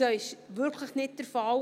Das ist wirklich nicht der Fall.